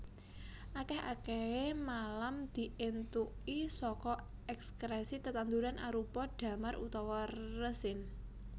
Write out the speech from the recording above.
Akèh akèhé malam diéntuki saka èkskrèsi tetanduran arupa damar utawa resin